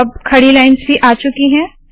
अब खड़ी लाइन्स भी आ चुकी है